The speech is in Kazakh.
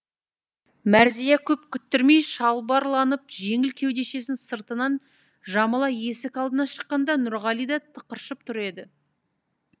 мәрзия көп күттірмей шалбарланып жеңіл кеудешесін сыртынан жамыла есік алдына шыққанда нұрғали да тықыршып тұр еді